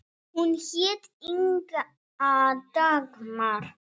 Hún hét Inga Dagmar.